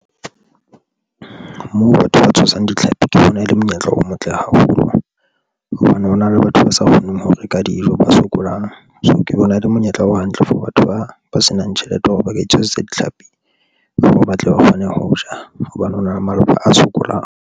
Moo batho ba tshwasang ditlhapi ke bona e le monyetla o motle haholo hobane hona le batho ba sa kgoneng ho reka dijo, ba sokolang so, ke bona e le monyetla o hantle for batho ba ba senang tjhelete ya hore ba ka tshwasetsa ditlhapi tseo hore ba tle ba kgone ho ja hobane ho na le malapa a sokolang.